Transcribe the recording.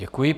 Děkuji.